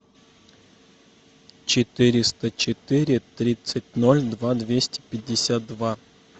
четыреста четыре тридцать ноль два двести пятьдесят два